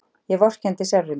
Ég vorkenndi sjálfri mér.